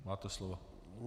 Máte slovo.